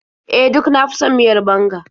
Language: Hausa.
E, duk na fi son miyar banga.